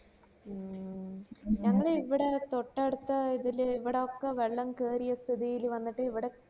മ് ഞങ്ങള് ഇവിടെ തൊട്ടടുത്ത ഇതില് ഇവടെ ഒക്കെ വെള്ളം കേറിയ സ്ഥിതില് വന്നിട്ട് ഇവടെ